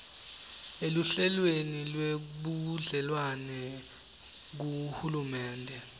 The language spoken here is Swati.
eluhlelweni lwebudlelwane kuhulumende